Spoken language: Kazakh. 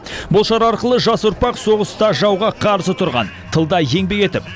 бұл шара арқылы жас ұрпақ соғыста жауға қарсы тұрған тылда еңбек етіп